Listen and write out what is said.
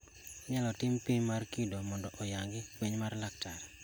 Inyalo tim pim mar kido mondo oyangi fweny mar laktar.